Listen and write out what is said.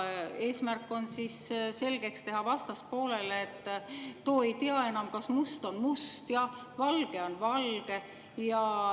Eesmärk on vastaspoolele selgeks teha, et too ei tea enam, kas must on must ja valge on valge.